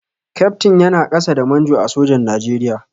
Kyaftin yana ƙasa da Manjo a sojan Nigeria.